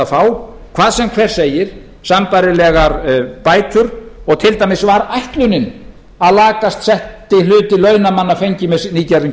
fá hvað sem hver segir sambærilegar bætur og til dæmis var ætlunin að lakast setti hluti launamanna fengi með nýgerðum